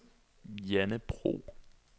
Janne Bro